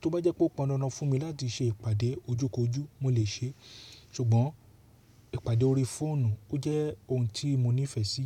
tó bá jẹ́ pé ó pọn dandan fún mi láti ṣe ìpàdé ojú kojú mo lè ṣe é. Ṣùgbọ́n ìpàdé orí fóònù ó jẹ́ ohun tí mo ní ìfẹ́ sí.